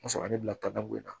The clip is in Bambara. O y'a sɔrɔ ale bila ka taa bon in na